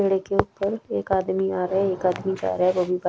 पेड़ के ऊपर एक आदमी आ रहा है एक आदमी जा रहा है वो भी बाई --